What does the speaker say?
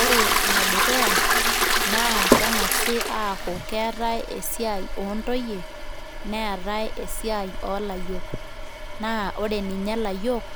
ore ene dukuya naa kengasi ataa keetae esiai oontoyie neetae esiai oolayiok naa ore ninye layiok